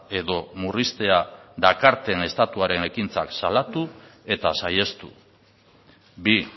edo murriztea dakarten estatuaren ekintzak salatu eta saihestu bi